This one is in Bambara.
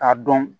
A dɔn